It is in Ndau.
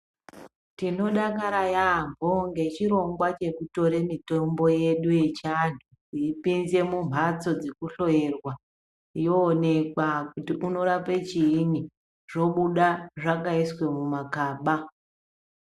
Tinodakara yaamho ngechirongwa chekutora mitombo yedu yechianhu kuipinze mumhatso dzekuhloyerwa yoonekwa kuti kunorape chiinyi zvobuda zvakaiswe mumagaba.